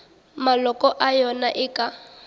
maloko a yona e ka